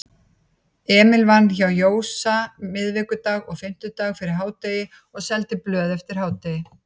Emil vann hjá Jósa miðvikudag og fimmtudag fyrir hádegi og seldi blöð eftir hádegi.